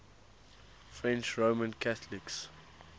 french roman catholics